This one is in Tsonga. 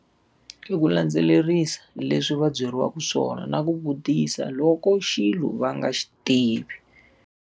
I ku landzelerisa leswi va byeriwaka swona na ku vutisa loko xilo va nga xi tivi.